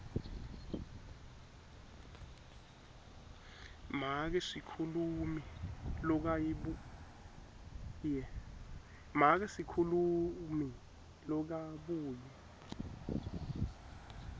make sikhulumi lokabuye